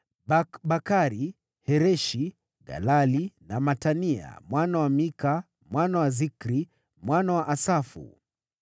Bakbakari, Hereshi, Galali na Matania mwana wa Mika, mwana wa Zikri, mwana wa Asafu.